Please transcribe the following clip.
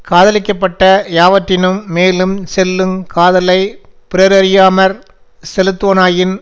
காதலிக்கப்பட்ட யாவற்றின்மேலுஞ் செல்லுங் காதலை பிறரறியாமற் செலுத்துவனாயின்